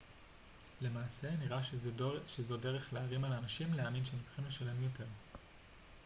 למעשה נראה שזו דרך להערים על אנשים להאמין שהם צריכים לשלם יותר